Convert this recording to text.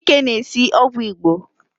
Chike na-esi ogwu Igbo